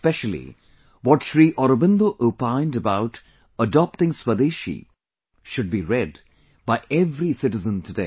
Especially what Shri Aurobindo opined about adopting Swadeshi should be read by every citizen today